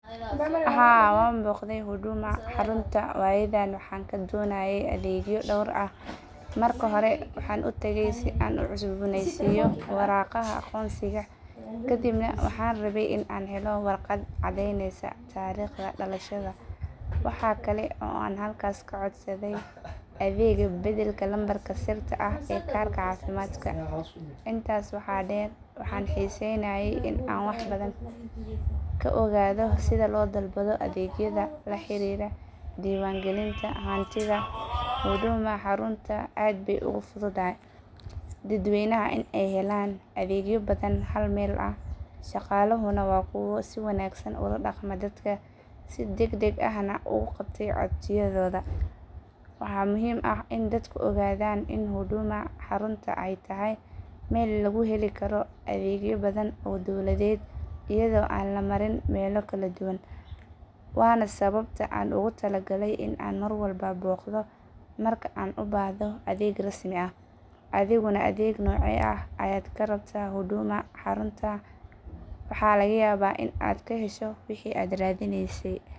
Haa wanbogday huduma, harunta waygaan donaye adega, marka hore waxan tagay si aan ucusbonesto iyo warago agonsiga kadibna waxan rawee in an helo warqat cadeyneysa tarigta dalashada, waxa kale oo an halkas kacodsade adega deganka nambarka sirta ah sida karka cafimadka intas waxa deer waxan hisaynaye in an waxbadan kaogado sida lodalbado adegyada laharira adega diwangalinta, huduma harunta aad bay ugufududahay dad waynaha in ay helaan adegya badan oo halmel ah, shagalaha na wa dad si wanagsan ola dagmo dadka si dagdag ah nah oguqabto codsiyadoda, waxa muxiim ah in dadka ogadan in huduma haruntaay tahay mel laguheli karoo adegya badan oo dowladed, iyadoan lamarin mela kaladuwan wana sawabta aan ogutalagalay in aan marwalbo bogda marka aan ubahdo adeg rasmi ah, adeg nocye ah aad kabahantahay huduma waxa lagayaba in aad kahesho wixi aad radineysey.